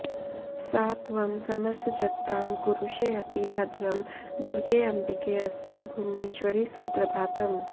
सा त्वं समस्तजगतां कुरुषेऽति भद्रं दुर्गेऽम्बिकेऽस्तु भुवनेश्वरि सुप्रभातम्